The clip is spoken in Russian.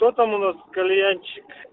кто там у нас кальянщик